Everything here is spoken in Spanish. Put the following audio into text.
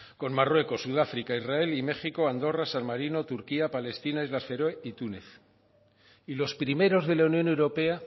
con marruecos sudáfrica israel y méxico andorra san marino turquía palestina islas feroe y túnez y los primeros de la unión europea